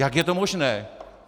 Jak je to možné?